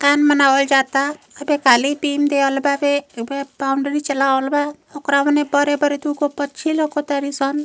कान बनावाल जाता। अबे काली बीम दिहल बाटे। बॉउन्ड्री चलावल बा। उकरा ओने बड़े बड़े दुगो पछी लौकतनिसन।